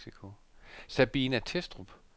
Sabina Thestrup